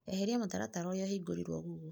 Eheria mũtaratara ũria ũhingũrirwo gugo.